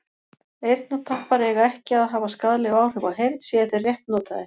eyrnatappar eiga ekki að hafa skaðleg áhrif á heyrn séu þeir rétt notaðir